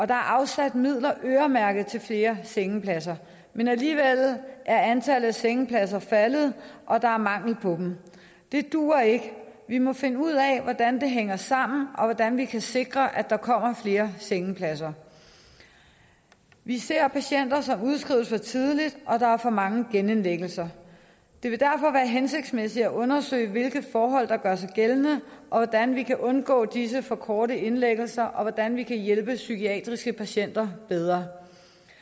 der er afsat midler øremærket til flere sengepladser men alligevel er antallet af sengepladser faldet og der er mangel på dem det duer ikke vi må finde ud af hvordan det hænger sammen og hvordan vi kan sikre at der kommer flere sengepladser vi ser patienter som udskrives for tidligt og der er for mange genindlæggelser det vil derfor være hensigtsmæssigt at undersøge hvilke forhold der gør sig gældende hvordan vi kan undgå disse for korte indlæggelser og hvordan vi kan hjælpe psykiatriske patienter bedre